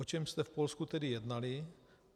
O čem jste v Polsku tedy jednali?